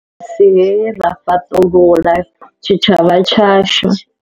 Vairasi hei ra fhaṱulula tshitshavha tshashu.